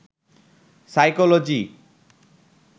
psychology